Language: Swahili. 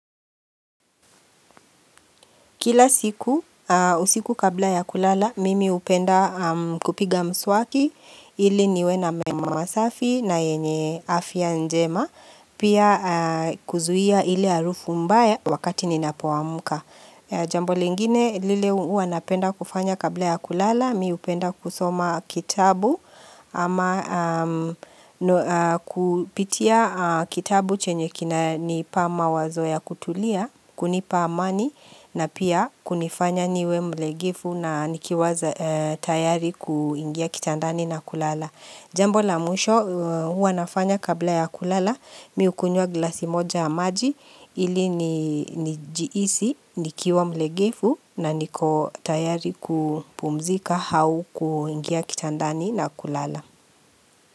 Kila siku, usiku kabla ya kulala, mimi hupenda kupiga mswaki, ili niwe na meno masafi na yenye afya njema, pia kuzuia ile harufu mbaya wakati ninapoamuka. Jambo lingine lile huwa napenda kufanya kabla ya kulala mi hupenda kusoma kitabu ama kupitia kitabu chenye kinanipa mawazo ya kutulia kunipa amani na pia kunifanya niwe mlegevu na nikiwaza tayari kuingia kitandani na kulala. Jambo la mwisho huwa nafanya kabla ya kulala mi hukunywa glasi moja maji ili nijihisi nikiwa mlegevu na niko tayari kupumzika au kuingia kitandani na kulala.